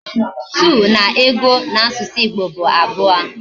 Two na ego na asusu Igbo bu abuo